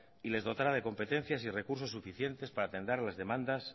y les dotara de competencias y recursos suficientes para atender a las demandas